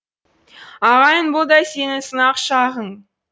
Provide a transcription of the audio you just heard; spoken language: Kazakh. ағайын бұл да сенің сынақ шағың